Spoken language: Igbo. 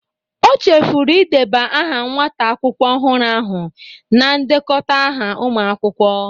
O chefuru ideba aha nwata akwụkwọ ọhụrụ ahụ na ndekọta ahụ ụmụ akwụkwọ